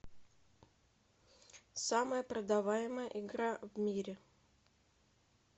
самая продаваемая игра в мире